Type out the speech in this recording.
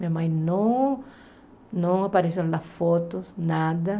Minha mãe não não apareceu nas fotos, nada.